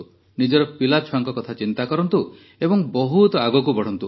ନିଜର ପିଲାଛୁଆଙ୍କ କଥା ଚିନ୍ତା କରନ୍ତୁ ଏବଂ ବହୁତ ଆଗକୁ ବଢ଼ନ୍ତୁ